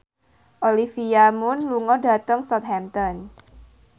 Olivia Munn lunga dhateng Southampton